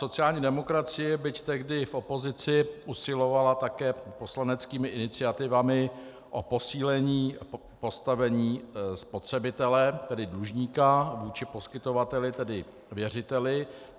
Sociální demokracie, byť tehdy v opozici, usilovala také poslaneckými iniciativami o posílení postavení spotřebitele, tedy dlužníka, vůči poskytovateli, tedy věřiteli.